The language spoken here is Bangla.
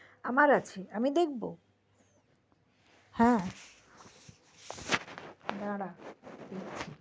আমার আছে আমি দেখবো দাড়া